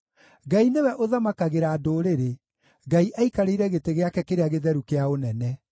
Ngai nĩwe ũthamakagĩra ndũrĩrĩ; Ngai aikarĩire gĩtĩ gĩake kĩrĩa gĩtheru kĩa ũnene.